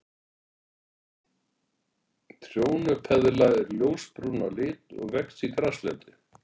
Trjónupeðla er ljósbrún að lit og vex í graslendi.